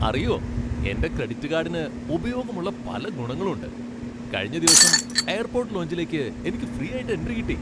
അറിയോ, എന്റെ ക്രെഡിറ്റ് കാഡിന് ഉപയോഗമുള്ള പല ഗുണങ്ങളുണ്ട്. കഴിഞ്ഞ ദിവസം എയർപോട്ട് ലോഞ്ചിലേക്ക് എനിക്ക് ഫ്രീ ആയിട്ട് എൻട്രി കിട്ടി.